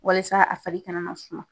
WalIsa a fari kana na funu.